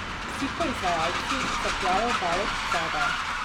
Vsi proizvajalci capljajo daleč zadaj.